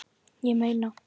Ég meina